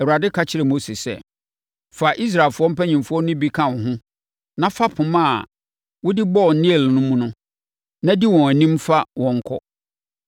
Awurade ka kyerɛɛ Mose sɛ, “Fa Israelfoɔ mpanimfoɔ no bi ka wo ho na fa poma a wode bɔɔ Nil mu no na di wɔn anim fa wɔn kɔ.